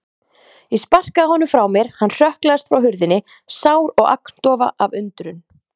Ég sparkaði honum frá mér, hann hrökklaðist frá hurðinni, sár og agndofa af undrun.